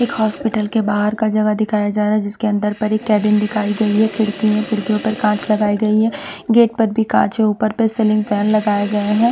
एक हॉस्पिटल के बाहर का जगह दिखाया जा रहा है जिसके अंदर पर एक कैबिन दिखाई गई है खिड़की हैं खिड़कियों पर काँच लगाई गई हैं गेट पर भी काँच है ऊपर पर सिलिंग फैन लगाए गए है।